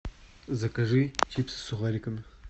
закажи чипсы с сухариками